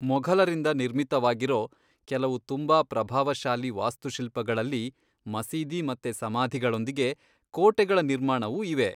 ಮೊಘಲರಿಂದ ನಿರ್ಮಿತವಾಗಿರೋ ಕೆಲವು ತುಂಬಾ ಪ್ರಭಾವಶಾಲಿ ವಾಸ್ತುಶಿಲ್ಪಗಳಲ್ಲಿ ಮಸೀದಿ ಮತ್ತೆ ಸಮಾಧಿಗಳೊಂದಿಗೆ, ಕೋಟೆಗಳ ನಿರ್ಮಾಣವೂ ಇವೆ.